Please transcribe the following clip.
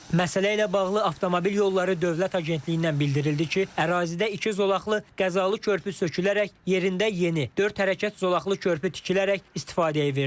Məsələ ilə bağlı Avtomobil Yolları Dövlət Agentliyindən bildirildi ki, ərazidə iki zolaqlı qəzalı körpü sökülərək yerində yeni, dörd hərəkət zolaqlı körpü tikilərək istifadəyə verilib.